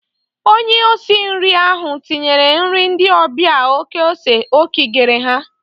Onye osi nri ahụ tinyere nri ndị ọbịa oké ose o kigere ha.